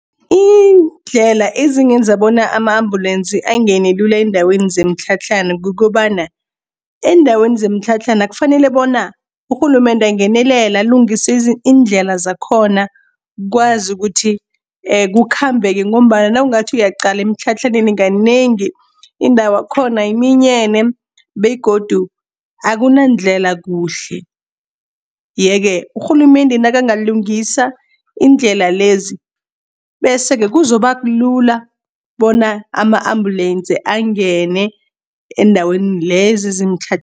Iindlela ezingenza bona ama-ambulensi angene lula eendaweni zemitlhatlhana kukobana, eendaweni zemitlhatlhana kufanele bona urhulumende angenelele alungise iindlela zakhona, kwazi kuthi kukhambeke, ngombana nawungathi uyaqala emitlhatlhaneni kanengi indawakhona iminyene, begodu akunandlela kuhle. Yeke, urhulumende nakangalungisa iindlela lezi, bese-ke kuzoba lula bona ama-ambulensi angene eendaweni lezi zimtlhatlhana